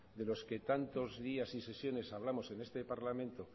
de los que tantos días y sesiones hablamos en este parlamento